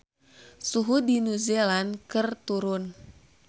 Suhu di New Zealand keur turun